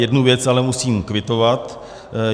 Jednu věc ale musím kvitovat.